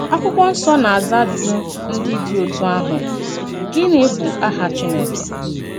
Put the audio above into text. Àkwụ́kwọ́ Nsọ́ na-àzà àjụ̀jù ndí dị̀ òtú àhụ̀: Gịnị bụ́ àhá Chínèkè?